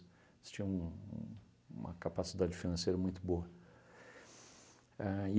Eles tinham um um uma capacidade financeira muito boa. A